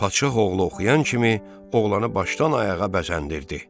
Padşah oğlu oxuyan kimi, oğlanı başdan ayağa bəzəndirdi.